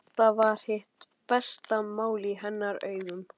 Þetta var hið besta mál í hennar augum.